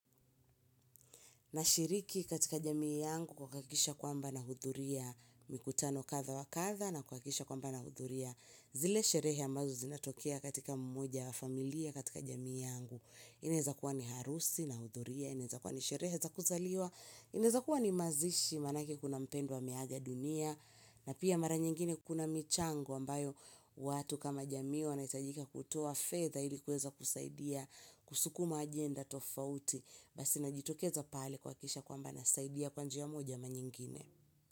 Nashiriki katika jamii yangu kwa kuhakikisha kwamba nahudhuria mikutano kadhaa wa kadhaa na kuhakikisha kwamba nahudhuria zile sherehe ambazo zinatokea katika mmoja familia katika jamii yangu. Inaweza kuwa ni harusi nahudhuria, inaweza kuwa ni sherehe za kuzaliwa, inaweza kuwa ni mazishi maanake kuna mpendwa ameaga dunia na pia mara nyingine kuna michango ambayo watu kama jamii wanahitajika kutoa fedha ili kuweza kusaidia kusukuma ajenda tofauti. Basi najitokeza pale kuhakikisha kwamba nasaidia kwa njia moja ama nyingine.